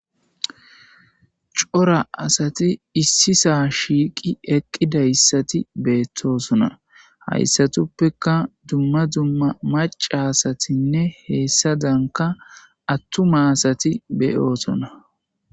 Cora asati issi sa'aa shiiqi eqqida asati beettosona. Ha asatuppekka dumma dumma maca asatinne heessa danka attuma asati be'osona.